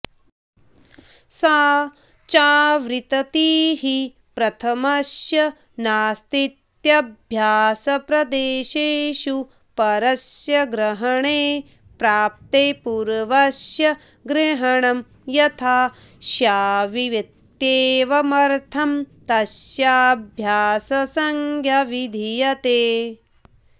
सा चावृततिः प्रथमस्य नास्तीत्यभ्यासप्रदेशेषु परस्य ग्रहणे प्राप्ते पूर्वस्य ग्रहणं यथा स्यावित्येवमर्थं तस्याभ्याससंज्ञा विधीयते